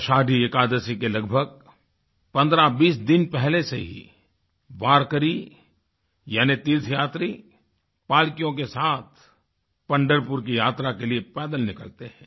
आषाढ़ी एकादशी के लगभग 1520 दिन पहले से ही वारकरी यानी तीर्थयात्री पालकियों के साथ पंढरपुर की यात्रा के लिए पैदल निकलते हैं